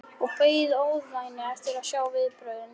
Ég beið í ofvæni eftir að sjá viðbrögðin.